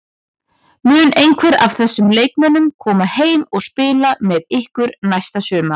Mun einhver af þessum leikmönnum koma heim og spila með ykkur næsta sumar?